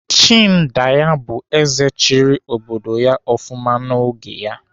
Chindaya bụrụ ézè chịrị obodo ya ofụma n'oge ha.